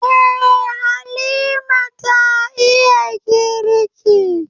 Eh, Halima ta iya girki.